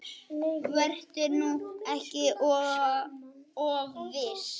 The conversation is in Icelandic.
Vertu nú ekki of viss.